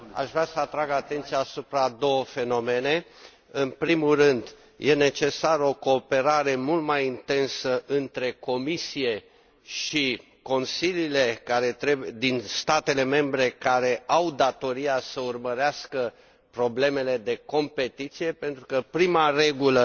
Aș vrea să atrag atenția asupra a două fenomene în primul rând, este necesară o cooperare mult mai intensă între Comisie și consiliile din statele membre care au datoria să urmărească problemele de competiție, pentru că prima regulă